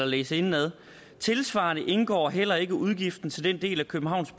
læses indenad tilsvarende indgår heller ikke udgifter til den del af københavns